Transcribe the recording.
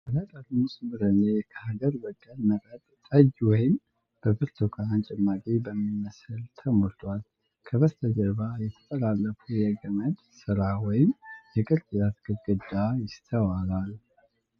ባለ ጠርሙስ ብርሌ በሀገር በቀል መጠጥ ጥጅ ወይም በብርቱካን ጭማቂ ቡሚመስል ተሞልቷል። ከበስተጀርባ የተጠላለፈ የገመድ ስራ ወይም የቅርጫት ግድግዳ ይስተዋላል።